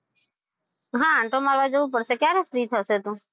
હા આટો મારવા જવું પડશે ક્યારે free થશે તું?